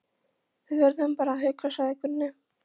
Við verðum bara að hugsa, sagði Gunni.